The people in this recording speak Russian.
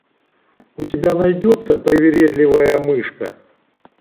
у тебя найдется привередливая мышка